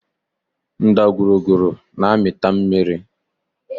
Ndagwurugwu na-amịta mmiri